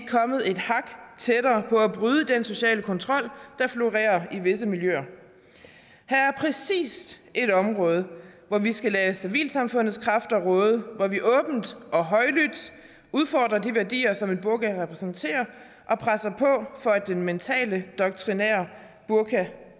kommet et hak tættere på at bryde den sociale kontrol der florerer i visse miljøer her er præcis et område hvor vi skal lade civilsamfundets kræfter råde hvor vi åbent og højlydt udfordrer de værdier som en burka repræsenterer og presser på for at den mentale doktrinære burka